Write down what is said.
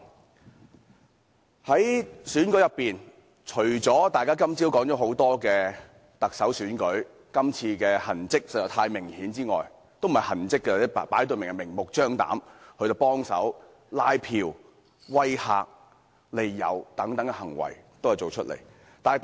針對這次特首選舉，今早大家都說看到很多明顯的痕跡，其實，這算不上是痕跡，反而是明目張膽地作出拉票、威嚇和利誘等行為。